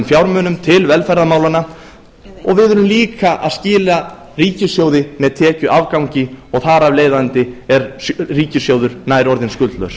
fjármunum til velferðarmálanna og við erum líka að skila ríkissjóði með tekjuafgangi og þar af leiðandi er ríkissjóður nær orðinn skuldlaus